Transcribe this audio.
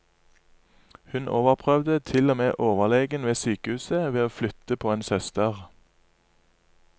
Hun overprøvde til og med overlegen ved sykehuset ved å flytte på en søster.